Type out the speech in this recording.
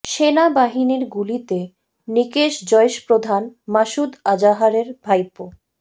সেনা বাহিনীর গুলিতে নিকেশ জইশ প্রধান মাসুদ আজাহারের ভাইপো